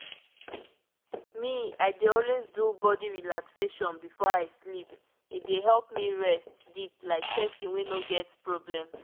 pause small—me i dey always do body relaxation before i sleep e dey help me rest deep like person wey no get problem.